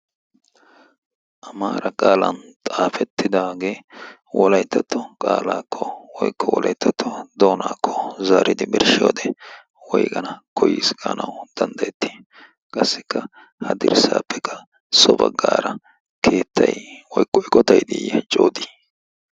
amaara qaalan xaafettidaagee wolayttatto qaalaakko woiqko wolayttatto doonaakko zaaridi birshshi wode woiqana koyiiskganau danddayettii qassikka ha dirssaappekka so baggaara keettay oyqqo